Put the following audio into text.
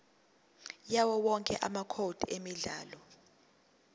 yawowonke amacode emidlalo